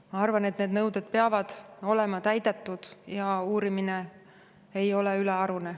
Ma arvan, et need nõuded peavad olema täidetud ja uurimine ei ole ülearune.